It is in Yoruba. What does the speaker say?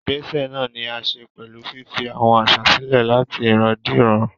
Ìgbésẹ̀ náà ní í ṣe pẹ̀lú fífi àwọn àṣà sílẹ̀ láti ìran dé ìran.